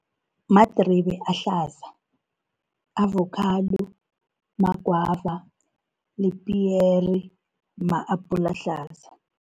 Madribe ahlaza, avokhado, magwava nepiyere, ma-apula ahlaza.